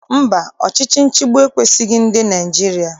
Mba, ọchịchị nchịgbu ekwesighị ndị Naịjirịa.